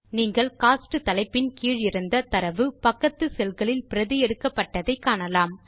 நீங்கள் கோஸ்ட் தலைப்பின் கீழ் இருந்த தரவு பக்கத்து செல்களில் பிரதி எடுக்கப்பட்டதை காணலாம்